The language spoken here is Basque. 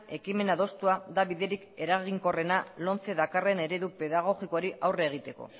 ekimen adostua da biderik eraginkorrena lomcek dakarren eredu pedagogikoari aurre egiteko